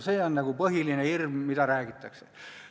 See on nagu põhiline hirm, mida räägitakse.